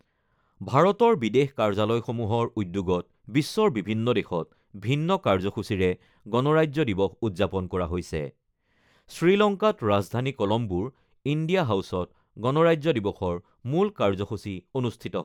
ভাৰতৰ বিদেশ কাৰ্যালয়সমূহৰ উদ্যোগত বিশ্বৰ বিভিন্ন দেশত ভিন্ন কাৰ্যসূচীৰে গণৰাজ্য দিৱস উদ্যাপন কৰা হৈছে। শ্ৰীলংকাত ৰাজধানী কলম্বোৰ ইণ্ডিয়া হাউচত গণৰাজ্য দিৱসৰ মূল কাৰ্যসূচী অনুষ্ঠিত